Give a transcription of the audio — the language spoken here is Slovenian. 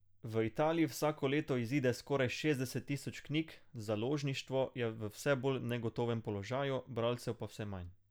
V Italiji vsako leto izide skoraj šestdeset tisoč knjig, založništvo je v vse bolj negotovem položaju, bralcev pa vse manj.